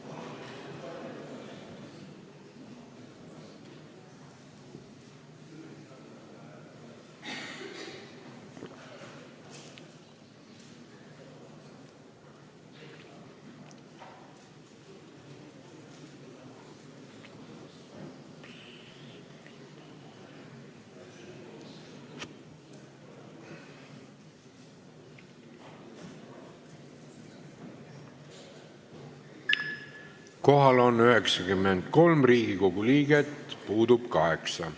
Kohaloleku kontroll Kohal on 93 Riigikogu liiget, puudub 8.